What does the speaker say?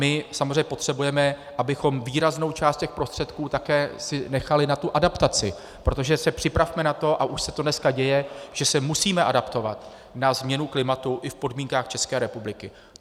My samozřejmě potřebujeme, abychom výraznou část těch prostředků také si nechali na tu adaptaci, protože se připravme na to, a už se to dneska děje, že se musíme adaptovat na změnu klimatu i v podmínkách České republiky.